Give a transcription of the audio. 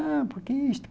Ah, por que isso?